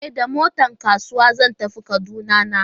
E, da motar kasuwa zan tafiya Kaduna nan.